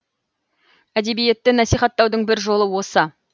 әдебиетті насихаттаудың бір жолы осы